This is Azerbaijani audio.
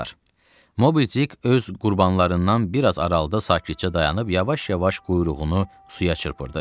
Mobidik öz qurbanlarından biraz aralıda sakitcə dayanıb yavaş-yavaş quyruğunu suya çırpırdı.